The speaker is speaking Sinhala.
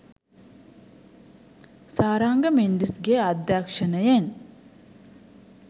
සාරංග මෙන්ඩිස්ගේ අධ්‍යක්ෂණයෙන්